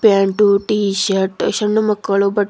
Pant T shirt ಸಣ್ಣ ಮಕ್ಕಳು ಬಟ್ಟೆ.